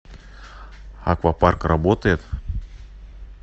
аквапарк работает